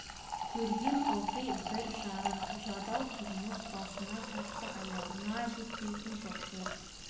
көрген ылғи бір жыртық жадау тұрмыс басына тартса аяғына жетпейтін жоқшылық